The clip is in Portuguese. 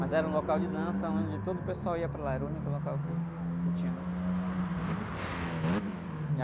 Mas era um local de dança, onde todo o pessoal ia para lá, era o único local que, que tinha, né?